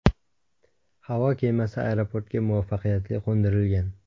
Havo kemasi aeroportga muvaffaqiyatli qo‘ndirilgan.